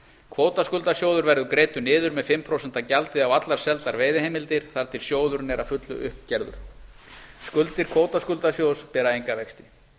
kvótaskuldasjóður verður greiddur niður með fimm prósent gjaldi á allar seldar veiðiheimildir þar til sjóðurinn er að fullu upp gerður skuldir kvótaskuldasjóðs bera enga vexti